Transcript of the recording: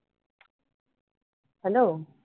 hello